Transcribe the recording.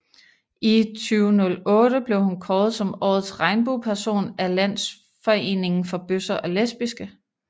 I 2008 blev hun kåret som Årets Regnbueperson af Landsforeningen for Bøsser og Lesbiske